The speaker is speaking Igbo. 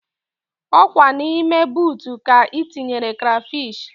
Ọkwa na ime boota ka ị tinyere krafish